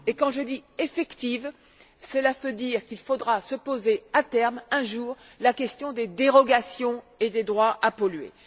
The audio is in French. Et quand je dis effective, cela veut dire qu'il faudra se poser, à terme, un jour, la question des dérogations et des droits à polluer.